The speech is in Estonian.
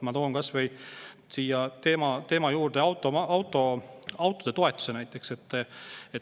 Ma toon siia teema juurde näiteks kas või autode toetuse.